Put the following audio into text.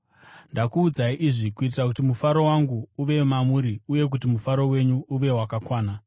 Ndakuudzai izvi kuitira kuti mufaro wangu uve mamuri uye kuti mufaro wenyu uve wakakwana.